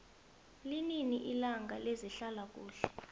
linini ilanga lezehlala kuhle